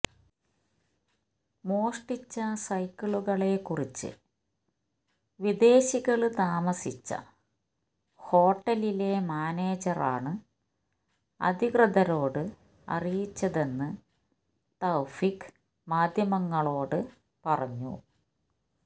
മോഷ്ടിച്ച സൈക്കിളുകളെ കുറിച്ച് വിദേശികള് താമസിച്ച ഹോട്ടലിലെ മാനേജറാണ് അധികൃതരോട് അറിയിച്ചതെന്ന് തൌഫീക്ക് മാധ്യമങ്ങളോട് പറഞ്ഞു